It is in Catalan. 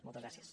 moltes gràcies